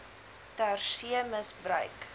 ter see misbruik